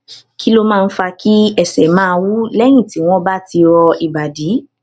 kí ló máa ń fa kí ẹsè máa wú léyìn tí wón bá ti rọ ìbàdí